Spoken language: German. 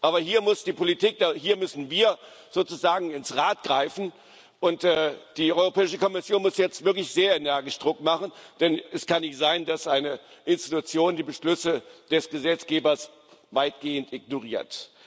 Aber hier muss die Politik, hier müssen wir sozusagen ins Rad greifen, und die Europäische Kommission muss jetzt wirklich sehr energisch Druck machen, denn es kann nicht sein, dass eine Institution die Beschlüsse des Gesetzgebers weitgehend ignoriert.